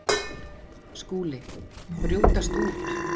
SKÚLI: Brjótast út!